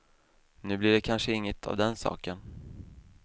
Nu blir det kanske inget av den saken.